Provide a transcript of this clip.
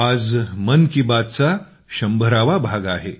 आज मन की बातचा शंभरावा भाग आहे